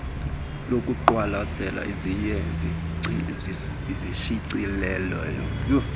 lokuqwalasela ziye zishicilelwe